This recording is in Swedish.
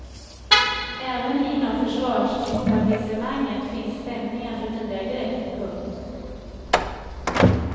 Även inom försvarsetablissemanget finns stämningar för nya grepp. punkt